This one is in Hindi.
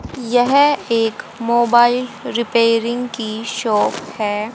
यह एक मोबाइल रिपेयरिंग की शॉप है।